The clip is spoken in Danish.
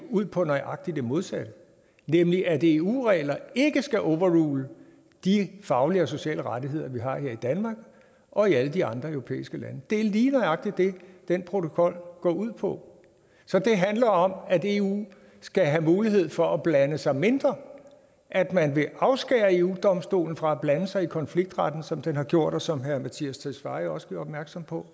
ud på nøjagtig det modsatte nemlig at eu regler ikke skal overrule de faglige og sociale rettigheder vi har her i danmark og i alle de andre europæiske lande det er lige nøjagtig det den protokol går ud på så det handler om at eu skal have mulighed for at blande sig mindre at man vil afskære eu domstolen fra at blande sig i konfliktretten sådan som den har gjort og som herre mattias tesfaye også gjorde opmærksom på